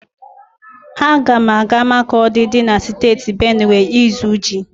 Aga m aga Makọdi dị na Steeti Benuwe ịzụ ji.